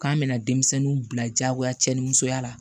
K'an bɛna denmisɛnninw bila jagoya cɛnimusoya la